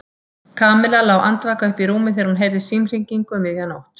Kamilla lá andvaka uppi í rúmi þegar hún heyrði símhringingu um miðja nótt.